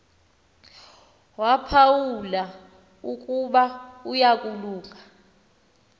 waphawula ukuba uyalunga